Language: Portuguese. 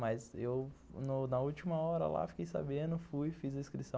Mas eu, na última hora lá, fiquei sabendo, fui, fiz a inscrição.